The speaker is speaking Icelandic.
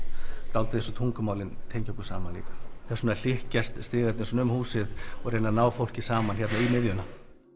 dálítið eins og tungumálin tengja okkur saman þess vegna hlykkjast stigarnir um húsið og reyna að ná fólki saman um miðjuna